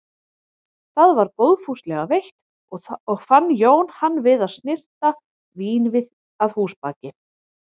Það var góðfúslega veitt og fann Jón hann við að snyrta vínvið að húsabaki.